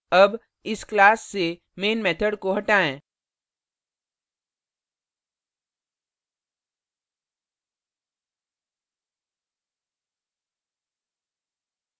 अब इस class से main method को हटाएँ